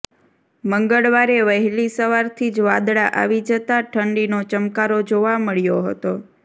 મંગળવારે વહેલી સવારથી જ વાદળાં આવી જતાં ઠંડીનો ચમકારો જોવા મળ્યો હતો